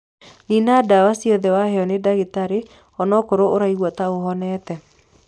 Nina dawa ciothe waheo ni ndagĩtarĩ onakorwo uraigua ta uhonete